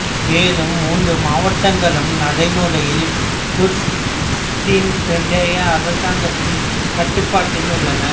மேலும் மூன்று மாவட்டங்களும் நடைமுறையில் குர்திஸ்தான் பிராந்திய அரசாங்கத்தின் கட்டுப்பாட்டில் உள்ளன